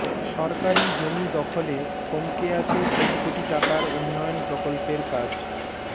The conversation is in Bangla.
সরকারি জমি দখলে থমকে আছে কোটি কোটি টাকার উন্ময়ণ প্রকল্পের কাজ